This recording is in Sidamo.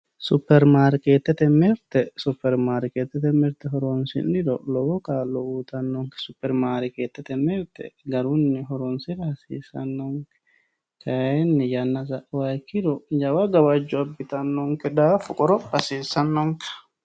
Superi maariketete mirite, superi maariketete mirite horonsiniro lowo kaalo uuyitanonke, super maariketete mirite garunni horonsirra hassisanonke kayini yana sa'uha ikkiro jawa gawajjo abitano daafo qoropha hasisanonke